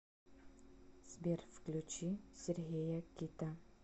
сбер включи сергея кита